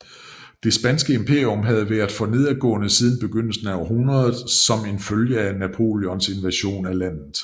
Det spanske imperium havde været for nedadgående siden begyndelsen af århundredet som en følge af Napoleons invasion af landet